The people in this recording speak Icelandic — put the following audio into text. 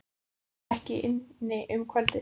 Björn var ekki inni um kvöldið.